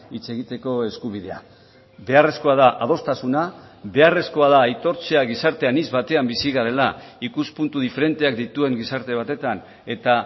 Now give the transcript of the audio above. hitz egiteko eskubidea beharrezkoa da adostasuna beharrezkoa da aitortzea gizarte anitz batean bizi garela ikuspuntu diferenteak dituen gizarte batetan eta